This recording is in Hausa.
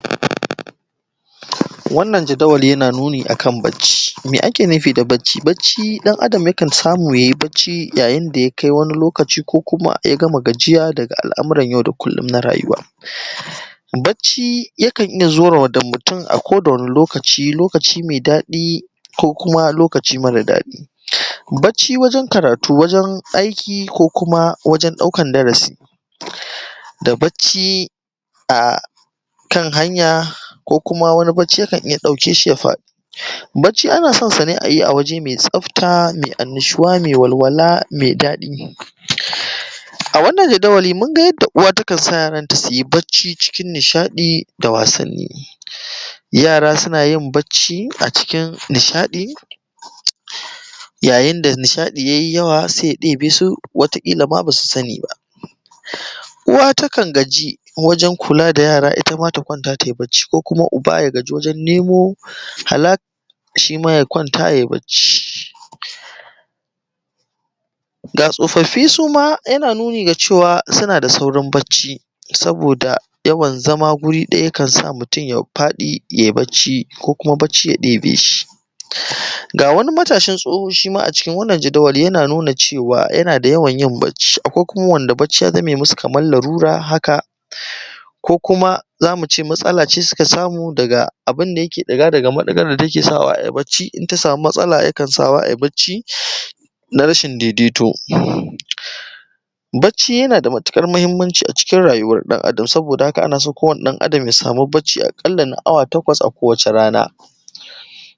9. waʹnna`n yaʹda`waʹlli` na nuni` akaʹn baʹcci, me` ake` nu`fiʹ dah baʹcci`? baʹcci` ɗa`n adaʹm ya`kaʹn saʹmu` ya`yiʹ baʹcci` ʣa`ʣiʹn daʹ ya`kaʹi waʹni` lokaʹci` ko ku`maʹ ya`gaʹmaʹ gaʹji`ʣaʹ daʹga` al ‘muraʹn ʣaʹu daʹ kullum naʹ raʹyuwa`, baʹcci ʣa`kaʹn iʹʣʣa` sure` mutun ako waʹni` lokaʹci` me` daʹɗi` ko kumaʹ lokaʹci` maʹra` daʹɗi`. baʹcc`i waʹje`n kaʹraʹtu` waʹje`n aiʹki ko kumaʹ waʹʣe`n ɗa`ukaʹn daʹraʹsiʹ da baʹcci akaʹnaʹnya` ko kuma ʹwaʹni` baʹcci` ya`kaʹn iʹyya` ɗaʹuke`shi ya faʹɗi`. baʹcci` anaʹson saʹ ne` ayi a waʹje` maʹi tsaʹfta` maʹi waʹlwa`laʹ maʹi daʹɗi`, awannan yaʹdaʹwa`liʹ mungaʹ yaʹnda` uwa ta`kaʹn ya` ya`ntaʹ suyi baʹcci` ciʹkiʹn niʹshaʹɗi` da wa`saʹnniʹ yaʹra` suna`yiʹn bacci kiʹn nishaʹɗi` yaʹyiʹnda` nishaʹɗi` yaʹyi` yaʹwa` baʹcci saʹi ya` ɗe`be`su basu saʹni` baʹ. uwa` ta`kaʹn gaʹji` waʹje`n kula da ʣaʹraʹ ittaʹmaʹ ta kwaʹnta` taʹyi baʹcci, ko ubaʹ ya gaʹji` gurun ne`mo ha`laʹs shiʹmaʹ ya` kwaʹnta` yaʹyi` baʹcci gaʹ tsofaʹffi` suma yana nuni` daʹ ce`waʹn suma sunaʹdaʹ sa`uriʹn baʹcci, saboda ya`waʹn zaʹma` wurui ɗa`ya` kaʹnsa` mutun ya faʹɗi` ʣaʹʣi` baʹcci ko kuma` baʹcci ʣa ɗe`be` shi. gaʹ waʹni` mataʹshiʹn tsoho shiʹma` a cikin waʹnna`n jadawali ʣana nuni da cwa yana da ya`waʹn baʹcci akwaʹi kumaʹ waʹnda` baʹcci ya zaʹme` musu Kaʹmaʹn laʹlura` haʹka`, ko kuma` maʹtsaʹlaʹ ne` suka saʹmu` daʹgaʹ abunda` yaʹke` ɗiʹga` da`gaʹ maɗi`gaʹr da yaʹke` saʹwaʹ baʹcci inta samu matsala ya`kaʹn sa`wa` ayi abaʹcci na rashiʹn daʹidaʹito baʹcci yanada matukaʹr mahiʹmma`nci a cikin raʹyu`waʹr ɗa`n adaʹm saboda haʹka` anaʹso ko wani ɗa`n adaʹm yaʹsaʹmi` baʹccai akaʹlla` na awa taʹkwa`s a ko waʹce` rana.